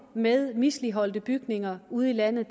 med misligholdte bygninger ude i landet